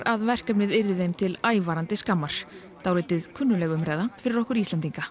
að verkefnið yrði þeim til ævarandi skammar dálítið kunnugleg umræða fyrir okkur Íslendinga